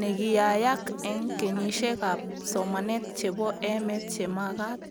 nekiyayak eng kenyishek ab somanet chebo emet chemagat